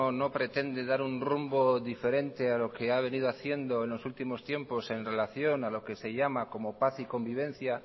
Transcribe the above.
no pretende dar un rumbo diferente a lo que ha venido haciendo en los últimos tiempos en relación a lo que se llama como paz y convivencia